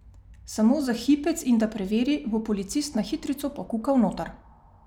Samo za hipec in da preveri, bo Policist na hitrico pokukal noter.